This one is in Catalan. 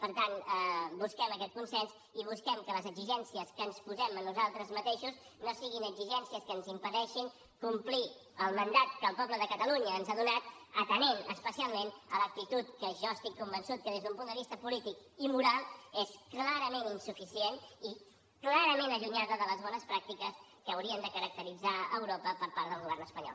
per tant busquem aquest consens i busquem que les exigències que ens posem a nosaltres mateixos no siguin exigències que ens impedeixin complir el mandat que el poble de catalunya ens ha donat atenent especialment a l’actitud que jo estic convençut que des d’un punt de vista polític i moral és clarament insuficient i clarament allunyada de les bones pràctiques que haurien de caracteritzar europa per part del govern espanyol